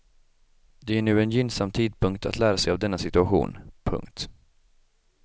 Det är nu en gynnsam tidpunkt att lära sig av denna situation. punkt